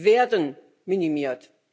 werden minimiert.